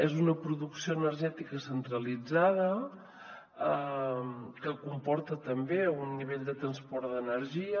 és una producció energètica centralitzada que comporta també un nivell de transport d’energia